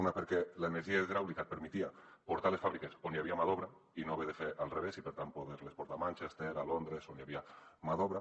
una perquè l’energia hidràulica et permetia portar les fàbriques on hi havia mà d’obra i no haver·ho de fer al revés i per tant poder·les portar a manches·ter a londres on hi havia mà d’obra